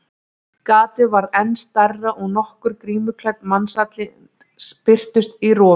Gatið varð enn stærra og nokkur grímuklædd mannsandlit birtust í rofinu.